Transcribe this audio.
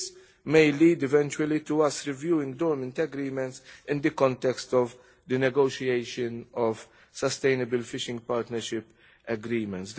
This may eventually lead to our reviewing dormant agreements in the context of the negotiation of sustainable fishing partnership agreements.